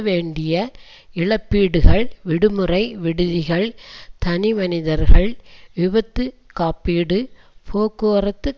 வேண்டிய இழப்பீடுகள் விடுமுறை விடுதிகள் தனிமனிதர்கள் விபத்து காப்பீடு போக்குவரத்து